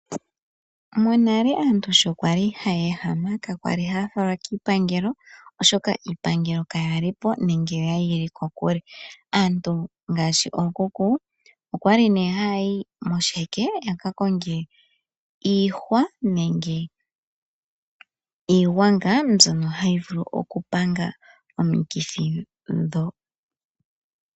Monale aantu shi kwali ha ya ehama, ka kwa li ha ya falwa kiipangelo, oshoka iipangelo ka ya lipo, oya li yili kokule. Aantu ngaashi okuku, okwa li ne ha ya yi moshiheke yaka konge iihwa nenge iigwanga mbyono ha yi vulu okupanga omikithi ndho.